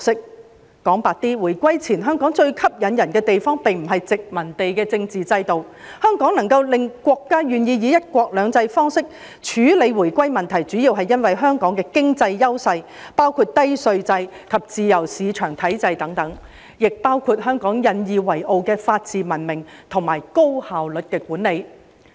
說得白一點，回歸前，香港最吸引人的地方，並不是殖民地的政治制度，香港能夠令國家願意以"一國兩制"方式處理回歸問題，主要是因為香港的經濟優勢，包括低稅制及自由市場體制等，亦包括香港引以為傲的法治文明及高效率管理。